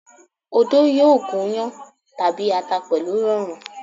Odó yóò gún iyán tàbí ata pẹ̀lú ìrọ̀rùn.